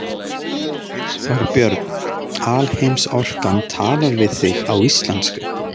Þorbjörn: Alheimsorkan talar við þig á íslensku?